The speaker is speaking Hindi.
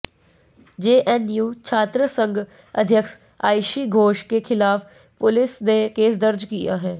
जेएनयू छात्रसंघ अध्यक्ष आईशी घोष के खिलाफ पुलिस ने केस दर्ज किया है